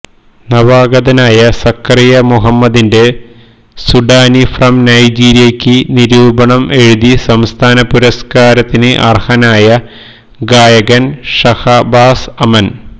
നവാഗതനായ സക്കരിയ മുഹമ്മദിന്റെ സുഡാനി ഫ്രം നൈജിരിയയ്ക്ക് നിരൂപണം എഴുതി സംസ്ഥാന പുരസ്കാരത്തിന് അര്ഹനായ ഗായകന് ഷഹബാസ് അമന്